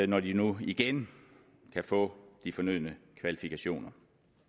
når de nu igen kan få de fornødne kvalifikationer